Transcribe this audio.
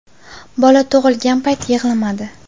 Bola tug‘ilgan payt yig‘lamadi.